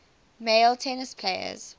male tennis players